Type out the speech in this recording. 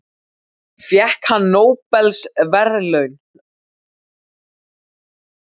Fékk hann nóbelsverðlaunin?